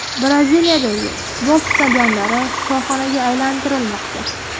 Braziliyadagi futbol stadionlari shifoxonaga aylantirilmoqda .